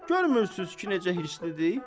Görmürsünüz ki, necə hirslidir?